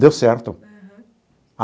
Deu certo.